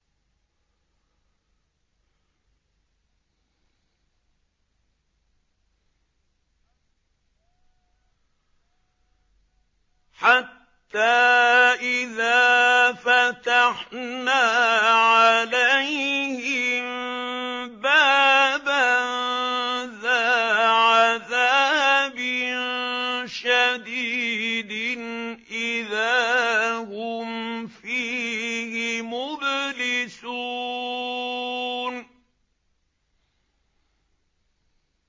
حَتَّىٰ إِذَا فَتَحْنَا عَلَيْهِم بَابًا ذَا عَذَابٍ شَدِيدٍ إِذَا هُمْ فِيهِ مُبْلِسُونَ